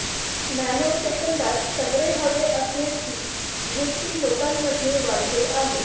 nano सेंकदात सगळे हवे असण्याची वृत्ती लोकांमध्ये वाढते आहे